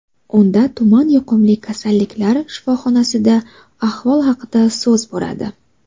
Unda tuman yuqumli kasalliklar shifoxonasida ahvol haqida so‘z boradi.